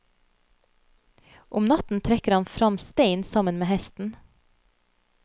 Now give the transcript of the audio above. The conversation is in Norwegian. Om natten trekker han frem stein sammen med hesten.